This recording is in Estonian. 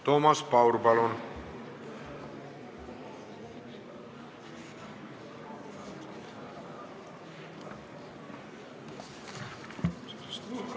Toomas Paur, palun!